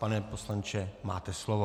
Pane poslanče, máte slovo.